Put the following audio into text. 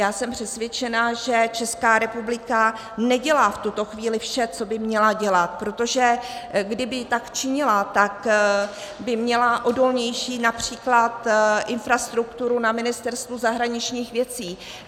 Já jsem přesvědčena, že Česká republika nedělá v tuto chvíli vše, co by měla dělat, protože kdyby tak činila, tak by měla odolnější například infrastrukturu na Ministerstvu zahraničních věcí.